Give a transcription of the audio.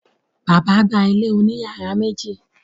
Bàbá gba ilé òní yàrá méjì.